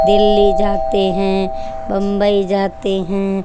दिल्ली जाते है बम्बई जाते है।